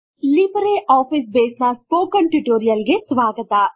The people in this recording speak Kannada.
ಲಿಬ್ರೆ ಆಫೀಸ್ ಬೇಸ್ ನ ಸ್ಪೋಕನ್ ಟ್ಯುಟೋರಿಯಲ್ ಗೆ ಸ್ವಾಗತ